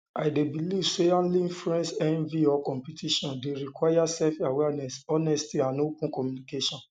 i dey believe say handling friend envy or competition dey um require selfawareness honesty and open communication